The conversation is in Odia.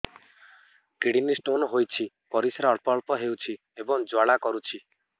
କିଡ଼ନୀ ସ୍ତୋନ ହୋଇଛି ପରିସ୍ରା ଅଳ୍ପ ଅଳ୍ପ ହେଉଛି ଏବଂ ଜ୍ୱାଳା କରୁଛି